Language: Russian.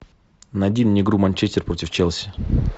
найди мне игру манчестер против челси